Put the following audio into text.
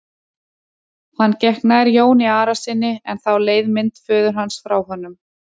Hann gekk nær Jóni Arasyni en þá leið mynd föður hans frá honum.